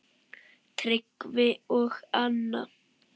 Tryggvi og Anna.